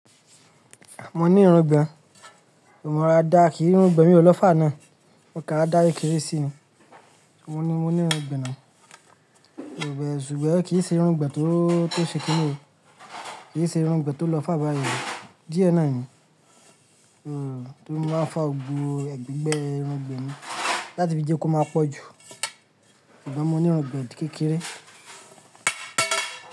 Mo ní irun gan, mo rọra dà kìí irun gbọn yẹn naa o lọ far náà. Okàn rarà dà kékeré sí i. Mo ní, mo ní irun gbọn náà. Ìgbẹ́ ṣùgbọ́n kì í ṣe irun gbẹ tóo, tó ṣe kíni o. Kì í ṣe irun gbọn tó lọ far báyẹn o. Díẹ̀ náà ni. Mm, tó ri mo máa ń fa gbogbo ẹ̀gbẹ́ irun gbọn ni, láti fi jẹ́ kó máa pọ̀ jù. Sugbọn mo ní irun gbọn kékeré.